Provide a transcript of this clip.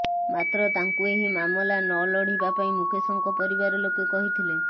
ମାତ୍ର ତାଙ୍କୁ ଏହି ମାମଲା ନ ଲଢିବା ପାଇଁ ମୁକେଶଙ୍କ ପରିବାର ଲୋକେ କହିଥିଲେ